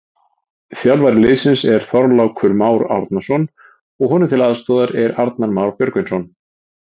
Þjálfari liðsins er Þorlákur Már Árnason og honum til aðstoðar er Arnar Már Björgvinsson.